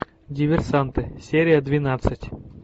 диверсанты серия двенадцать